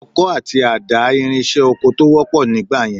Ọkọ àti àdá ìrinṣẹ́ oko tó wọ́pọ̀ nígbà yẹn